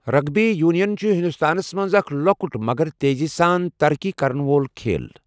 Rugby union چھُ ہندوستانس منٛز اکھ لۄکُٹ مگر تٖیزی سان ترقی کرن وول کھیل۔